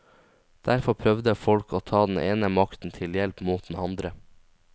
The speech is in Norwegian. Derfor prøvde folk å ta den ene makten til hjelp mot den andre.